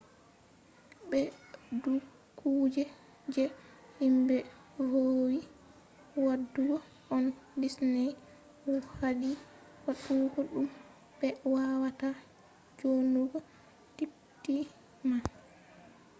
be do kuje je himbe vowi wadugo on disney hadi wadugo dum; be wawata djonnugo tiketi man